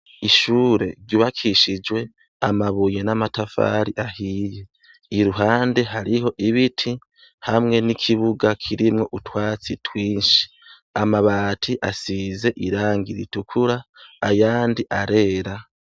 Ishure ryubakishijwe amabuye n'amatafari ahiye. Iruhande, hariho ibiti hamwe n'ikibuga kirimwo utwatsi twinshi. Amabati asize irangi ritukura ayandi arera.